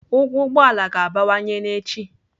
Ụgwọ ụgbọ ala ga-abawanye n'echi.